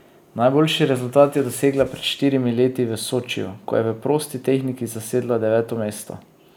Najboljši rezultat je dosegla pred štirimi leti v Sočiju, ko je v prosti tehniki zasedla deveto mesto.